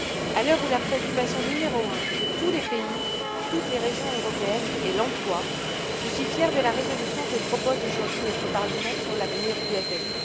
À l'heure où la préoccupation numéro un de tous les pays, de toutes les régions européennes, est l'emploi, je suis fière de la résolution que propose aujourd'hui notre Parlement sur l'avenir du FSE.